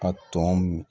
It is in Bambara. A tɔn